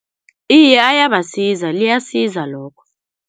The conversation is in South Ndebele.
Iye ayabasiza, liyasiza lokho.